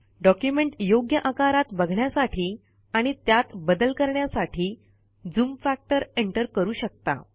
document योग्य आकारात बघण्यासाठी आणि त्यात बदल करण्यासाठी झूम फॅक्टर एंटर करू शकता